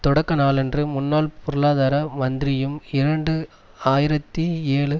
தொடக்க நாளன்று முன்னாள் பொருளாதார மந்திரியும் இரண்டு ஆயிரத்தி ஏழு